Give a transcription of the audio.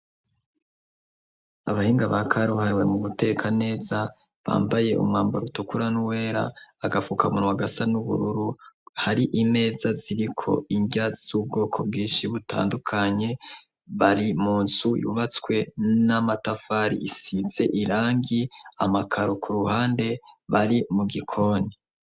Abahinga ba karuhariwe mu guteka neza bambaye umwambaro utukura n'uwera agafukamunwa wagasa n'ubururu hari imeza ziriko inrya z'ubwoko bwinshi butandukanye bari munzu yubatswe n'amatafari isize irangi amakaro ku ruhande bari mu gikoni.